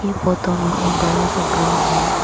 Photo में एक बड़ा सा ग्राउंड है।